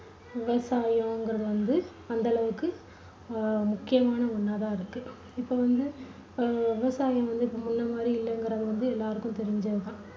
விவசாயங்கறது வந்து அந்தளவுக்கு முக்கியமான ஒண்ணா தான் இருக்கு இப்போ வந்து விவசாயங்கறது முன்ன மாதிரி இல்லங்கிறது வந்து எல்லாருக்கும் தெரிஞ்சதுதான்